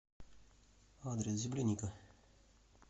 адрес земляника